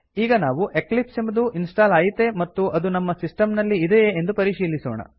ಈಗ ನಾವು ಎಕ್ಲಿಪ್ಸ್ ಎಂಬುದು ಇನ್ಸ್ಟಾಲ್ ಆಯಿತೇ ಮತ್ತು ಅದು ನಮ್ಮ ಸಿಸ್ಟಮ್ ನಲಿ ಇದೆಯೇ ಎಂದು ಪರಿಶೀಲಿಸೋಣ